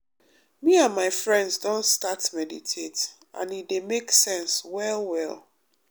me and my friends don start meditate and e dey make sense well well.